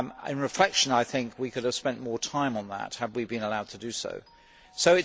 On reflection I think we could have spent more time on that had we been allowed to do so.